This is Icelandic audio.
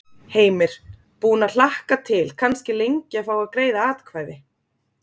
Heimir: Búinn að hlakka til kannski lengi að fá að greiða atkvæði?